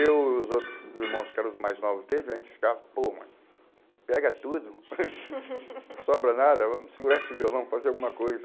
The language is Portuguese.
Eu e os outros irmãos que eram os mais novos deles, a gente ficava, pô, mano, pega tudo, não sobra nada, vamos segurar esse violão, vamos fazer alguma coisa.